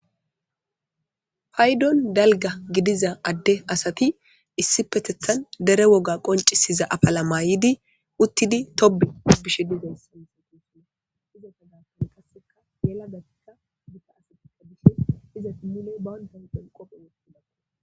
paydon dalga gidiza adde asati issi petethan dere woga qoncisiza afala maayidi uttidi tobe bishe digan sinsi qussun iza fe gapan kasseka yelagakka biga asateta bish iza i mile baandanpen qophe wotidak